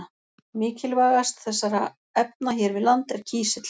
Mikilvægast þessara efna hér við land er kísill.